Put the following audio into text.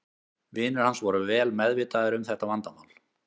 Vinir hans voru vel meðvitaðir um þetta vandamál.